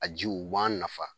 A ji u b'an nafa